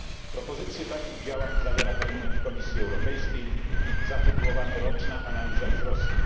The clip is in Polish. Propozycje takich działań zawiera dokument Komisji Europejskiej zatytułowany Roczna analiza wzrostu.